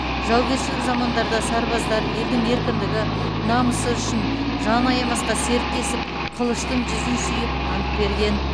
жаугершілік замандарда сарбаздар елдің еркіндігі намысы үшін жан аямасқа серттесіп қылыштың жүзін сүйіп ант берген